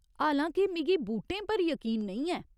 हालां के मिगी बूटें पर यकीन नेईं ऐ।